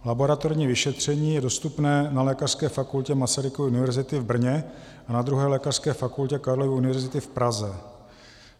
Laboratorní vyšetření je dostupné na Lékařské fakultě Masarykovy univerzity v Brně a na 2. lékařské fakultě Karlovy univerzity v Praze.